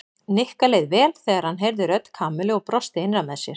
Nikka leið vel þegar hann heyrði rödd Kamillu og brosti innra með sér.